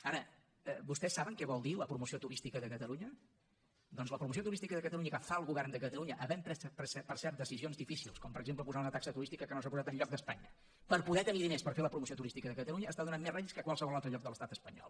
ara vostès saben què vol dir la promoció turística de catalunya doncs la promoció turística de catalunya que fa el govern de catalunya havent pres per cert decisions difícils com per exemple posar una taxa turística que no s’ha posat enlloc d’espanya per poder tenir diners per fer la promoció turística de catalunya està donant més rèdits que a qualsevol altre lloc de l’estat espanyol